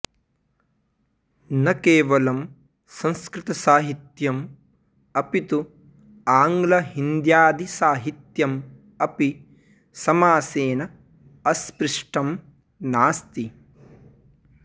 न केवलं संस्कृतसाहित्यम् अपितु आंग्लहिन्द्यादिसाहित्यम् अपि समासेन अस्पृष्टं नास्ति